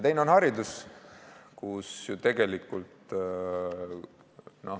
Teine valdkond on haridus.